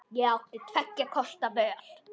Ég átti tveggja kosta völ.